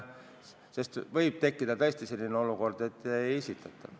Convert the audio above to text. Sest võib tekkida tõesti selline olukord, et uut nimekirja ei esitata.